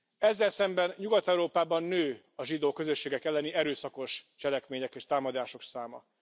Ezzel szemben Nyugat Európában nő a zsidó közösségek elleni erőszakos cselekmények és támadások száma.